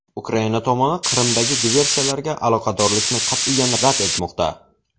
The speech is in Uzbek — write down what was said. Ukraina tomoni Qrimdagi diversiyalarga aloqadorlikni qat’iyan rad etmoqda.